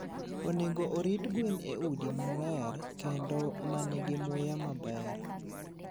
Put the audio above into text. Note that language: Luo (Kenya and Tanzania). Onego orit gwen e udi maler kendo ma nigi muya maber.